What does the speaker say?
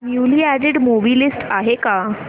newly added movie list आहे का